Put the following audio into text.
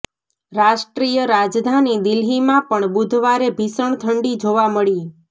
રાષ્ટ્રીય રાજધાની દિલ્હીમાં પણ બુધવારે ભીષણ ઠંડી જોવા મળી